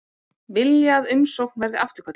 Vilja að umsókn verði afturkölluð